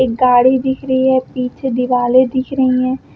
गाड़ी दिख रही है पीछे दीवालें दिख रही हैं।